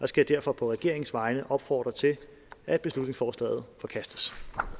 skal derfor på regeringens vegne opfordre til at beslutningsforslaget forkastes